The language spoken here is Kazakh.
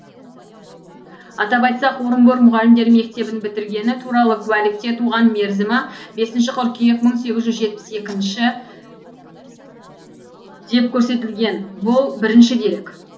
атап айтсақ орынбор мұғалімдер мектебін бітіргені туралы куәлікте туған мерзімі бесінші қыркүйек мың сегіз жүз жетпіс екінші деп көрсетілген бұл бірінші дерек